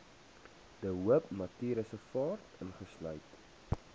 de hoopnatuurreservaat insluit